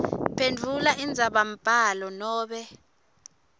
phendvula indzabambhalo nobe